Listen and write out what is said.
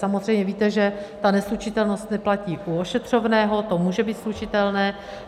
Samozřejmě víte, že ta neslučitelnost neplatí u ošetřovného, to může být slučitelné.